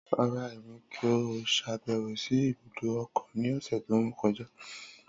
Rara, Emi ko ṣabẹwo si ibudo okun ni ọsẹ to kọja.